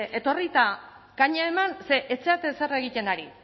etorri eta kaña eman ze ez zarete ezer egiten ari